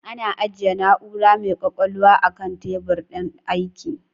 Ana ajjiye na'ura mai kwakwalwa a kan tebur din aiki